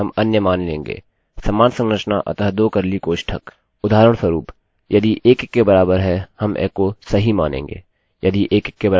उदाहरणस्वरूप यदि 1 1 के बराबर है हम एको सही मानेंगे